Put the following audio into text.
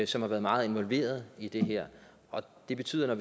som har været meget involveret i det her og det betyder at